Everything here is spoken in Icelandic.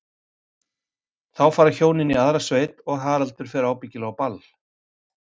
Þá fara hjónin í aðra sveit og Haraldur fer ábyggilega á ball.